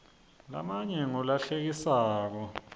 lamanye ngula hlekisako